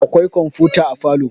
akwai komfuta a falo